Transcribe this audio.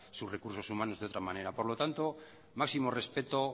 sus recursos humanos de otra manera por lo tanto máximo respeto